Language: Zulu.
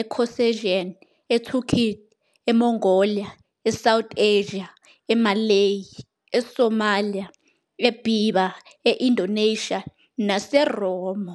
eCaucasian, eTurkic, eMongolia, eSouth Asia, eMalay, eSomalia, eBerber, e- Indonesia, naseMoro.